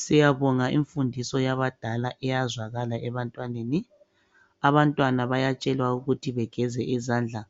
Siyabonga imfundiso yabadala iyazwakala ebantwaneni, abantwana bayatshelwa ukuthi begeze izandla